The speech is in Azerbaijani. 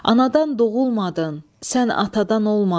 Anadan doğulmadın, sən atadan olmadın.